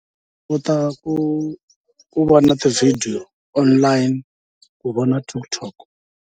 U kota ku ku vona ti-video online, u vona TikTok.